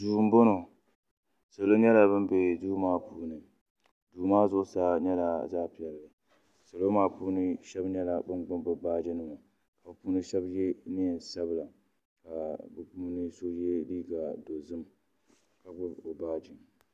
duu m-bɔŋɔ salo nyɛla ban be duu maa puuni duu maa zuɣusaa nyɛla zaɣ' piɛlli salo maa puuni shɛba nyɛla ban gbubi bɛ baaji nima ka bɛ puuni shɛba ye neen' sabila ka bɛ puuni so ye liiga dozim ka gbubi o baaji.